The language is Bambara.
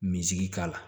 Minzigi k'a la